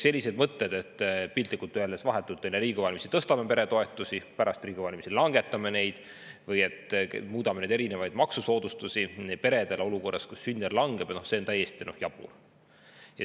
Sellised mõtted, et piltlikult öeldes vahetult enne Riigikogu valimisi tõstame peretoetusi ja pärast Riigikogu valimisi langetame neid, või et muudame peredele mõeldud maksusoodustusi olukorras, kus sündide arv langeb, on täiesti jaburad.